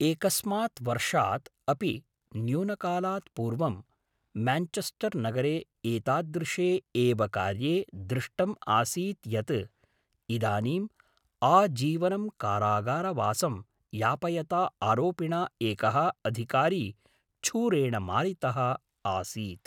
एकस्मात् वर्षात् अपि न्यूनकालात् पूर्वं म्यान्चेस्टर् नगरे एतादृशे एव कार्ये दृष्टम् आसीत् यत् इदानीम् आजीवनं कारागारवासं यापयता आरोपिणा एकः अधिकारी छूरेण मारितः आसीत्